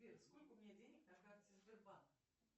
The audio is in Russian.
сбер сколько у меня денег на карте сбербанк